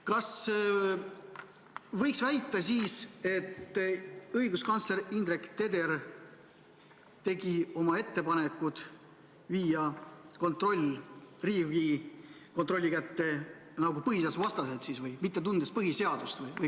Kas võiks väita, et õiguskantsler Indrek Teder tegi oma ettepaneku viia see kontroll Riigikontrolli kätte põhiseadusvastaselt või mitte tundes põhiseadust?